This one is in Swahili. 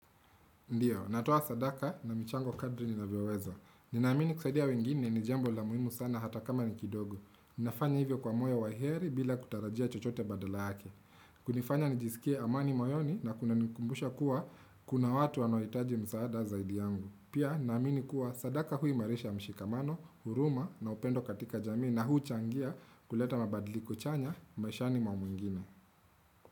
Ndiyo, natoa sadaka na michango kadri ninavyoweza. Ninaamini kusadia wengine ni jambo la muhimu sana hata kama ni kidogo. Ninafanya hivyo kwa moyo wa heri bila kutarajia chochote badala yake. Kunifanya nijisikie amani moyoni na kunanikumbusha kuwa kuna watu wanaohitaji msaada zaidi yangu. Pia, naamini kuwa sadaka huimarisha mshikamano, huruma na upendo katika jamii na huu changia kuleta mabadiliko chanya maishani mwa mwingine.